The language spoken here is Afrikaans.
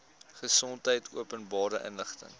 gesondheid openbare inligting